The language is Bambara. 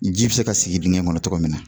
Ji biese ka sigi digɛn in kɔnɔ togo min na